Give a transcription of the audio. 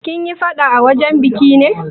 Kin yi faɗa a wajen biki ne?